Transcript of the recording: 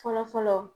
Fɔlɔfɔlɔ